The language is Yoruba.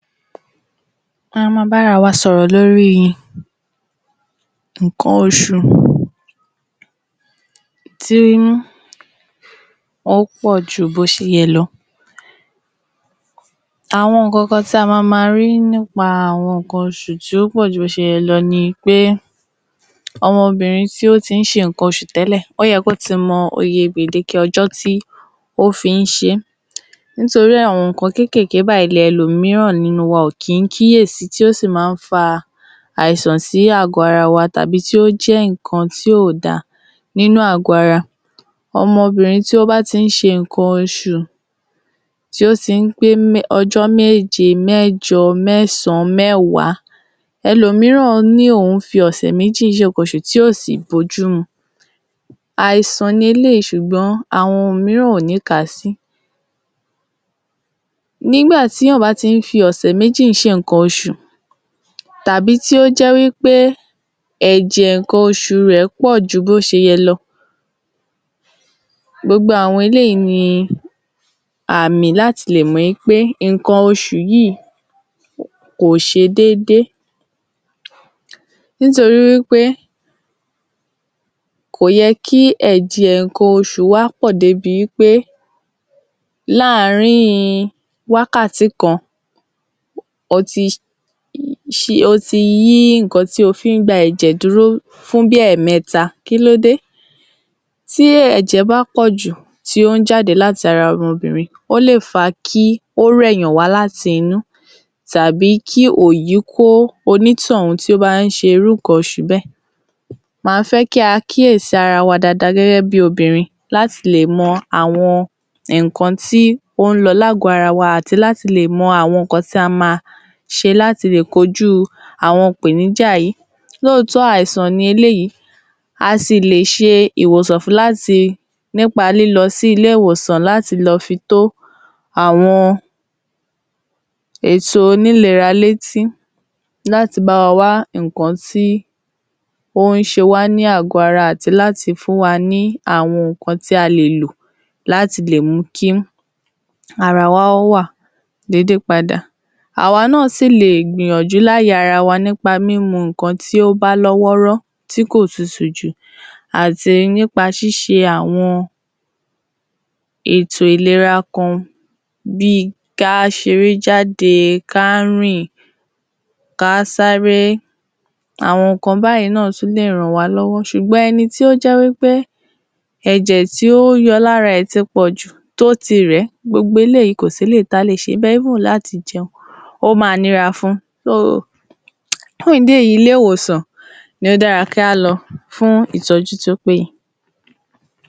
A máa máa bára wa sọ̀rọ̀ lórí nǹkan oṣù tí ó pọ̀ ju bí ó ṣe yẹ lọ. Àwọn nǹkan kan tí a máa máa rí nípa àwọn nǹkan oṣù tí ó pọ̀ ju bí ó se yẹ lọ ni wí pé ọmọbìnrin tí ó ti ń ṣe nǹkan oṣù tẹ́lẹ̀, ó yẹ kí ó ti mọ iye gbèdéke ọjọ́ tí ó fi ń ṣe é nítorí àwọn nǹkan kéékèèké báyìí ni àwọn ẹlòmíràn nínú wọn kìí kíyèsí tí ó sì máa ń fa àìsàn sí àgọ́ ara wa tàbí tí ó jé nǹkan tí ò da nínú àgọ́ ara. Ọmọbìrin tí ó bá ti ń ṣe nǹkan osù tí ó ti ń pé ọjọ́ méje, mẹ́jọ, mẹ́sàn-án, mẹ́wàá, ẹlòmíràn ní òun ń fi ọ̀sẹ̀ méjì ṣe nǹkan oṣù tí ò sì bójú mu, àìsàn ni eléyìí ṣùgbọ́n àwọn mìíràn kò ní kàásí. Nígbà tí ènìyàn bá ti ń fi ọ̀sẹ̀ méjì ṣe nǹkan oṣù tàbí tí ó jẹ́ wí pé ẹ̀jẹ̀ nǹkan oṣù rẹ̀ pọ̀ ju bó ṣe yẹ lọ, gbogbo àwọn eléyìí ni àmì láti lè mọ̀ wí pé nǹkan oṣù yíì kò ṣe déédé nítorí wí pé kò yẹ kí ẹ̀jẹ̀ nǹkan oṣù wa pọ̀ débi wí pé láàárin wákàtí kan o ti yí nǹkan tí o fí ń gba ẹ̀jẹ̀ dúró bí fún ẹ̀mẹ́ta, kílóde? tí ẹ̀jẹ̀ bá pọ̀jù tí ó ń jáde lára obìnrin, ó lè fa kí ó rẹ̀yàn láti inú tàbí kí òyì kó onítọ̀hún tí ó bá ń se irú nǹkan oṣù bẹ́ẹ̀. Màá fẹ́ kí a kíyèsí ara wa dáadáa gẹ́gẹ bí i obìnrin láti lè mọ àwọn nǹkan tí ó ń lọ ní àgọ́ ara wa àti láti lè mọ àwọn nǹkan tí a máa ṣe àti láti lè kọ́jú àwọn ìpèníjà yìí, lóòtọ́ọ́ àìsàn ni eléyìí, a sì lè ṣe ìwòsàn fún-un, láti nípa lílọ sí ilé-ìwòsàn láti lọ fi tó àwọn èto onílera létí láti bá wa wá nǹkan tí ó ń ṣe wá ní àgọ́ ara àti láti fún wa ní àwọn nǹkan tí a lè lò láti lè mú kí ara wa wà déédé padà, àwa náà sì lè gbìyànjú láyè ara wa nípa mímu nǹkan tí ó bá lọ́ wọ́ọ́rọ́ tí kò tutù jù àti nípa ṣíṣe àwọn ètò ìlera kan bí i ká ṣe eré jáde, ká rìn, ká sáré, àwọn nǹkan báyìí tún lè ràn wá lọ́wọ́, ṣùgbọ́n ẹni tí ó jẹ́ wí pé ẹ̀jẹ̀ tí ó ń yọ lára rẹ̀ ti pọ̀jù, tó ti rẹ̀ ẹ́, gbogbo eléyìí kò sí èyí tí a lè ṣe níbẹ̀ kódà láti jẹun ó máa nira fun, fún ìdí èyí ilé-ìwòsàn ni ó dára kí a lọ fún ìtọ́jú tí ó péye.